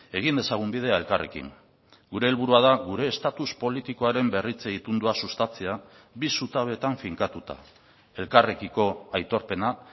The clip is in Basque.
egin dezagun bidea elkarrekin gure helburua da gure estatus politikoaren berritze itundua sustatzea bi zutabetan finkatuta elkarrekiko aitorpena